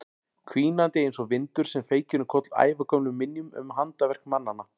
Hvínandi einsog vindur sem feykir um koll ævagömlum minjum um handaverk mannanna.